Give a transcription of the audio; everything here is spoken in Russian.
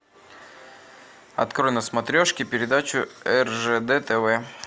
открой на смотрешке передачу ржд тв